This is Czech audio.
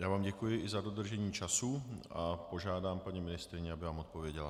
Já vám děkuji i za dodržení času a požádám paní ministryni, aby vám odpověděla.